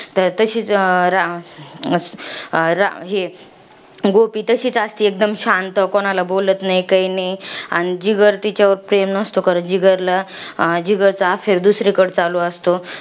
तर तशीच रा अं रा हे. गोपी तशीच असते शांत. कोणाला काही बोलत नाही, काही नाही. आणि जिगर तिच्यावर प्रेम नसतो करत. जिगरला अं जिगरचं affair दुसरीकडे चालू असतं.